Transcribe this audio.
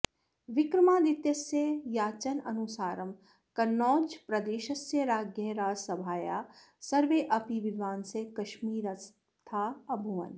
विक्रमादित्यस्य याचनानुसारं कन्नौजप्रदेशस्य राज्ञः राजसभायाः सर्वेऽपि विद्वांसः काश्मीरस्थाः अभूवन्